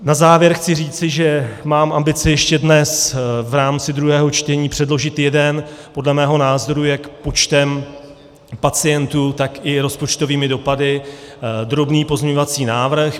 Na závěr chci říci, že mám ambici ještě dnes v rámci druhého čtení předložit jeden podle mého názoru jak počtem pacientů, tak i rozpočtovými dopady drobný pozměňovací návrh.